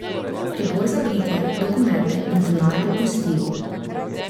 Pribor za britje, dokumente in denar bo pustil.